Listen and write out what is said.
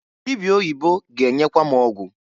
Dịbịa oyibo ga-enyekwa m ọgwụ.